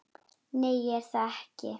Nei, ég er það ekki.